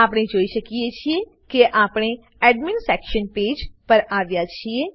આપણે જોઈ શકીએ છીએ કે આપણે admin section page admin section page પર આવ્યા છીએ